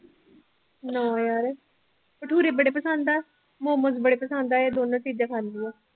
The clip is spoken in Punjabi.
ਨਾ ਯਾਰ ਭਟੂਰੇ ਬੜੇ ਪਸੰਦ ਆ, ਮੋਮੋਸ ਬੜੇ ਪਸੰਦ ਆ ਇਹ ਦੋਨੋਂ ਚੀਜ਼ਾਂ ਖਾਂਦੀ ਹਾਂ।